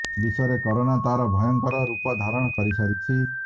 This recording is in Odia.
ବିଶ୍ବରେ କରୋନା ତାର ଭୟଙ୍କର ରୂପ ଧାରଣ କରି ସାରିଛି